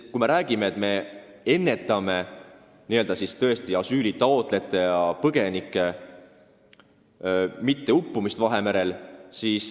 Me räägime, et me hoiame ära asüülitaotlejate ja muude põgenike uppumise Vahemerel.